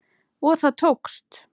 Og það tókst!